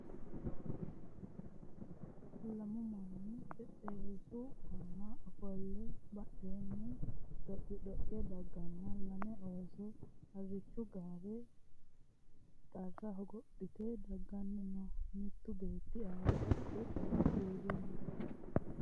Lamu manni xexxerisu aanna ofoleenna badheenni dhoqidhoqe daganna lame oosso harichchu gaarenni xarra hogophphitte daganni noo . mittu beetti anga badhee qo'le uure noo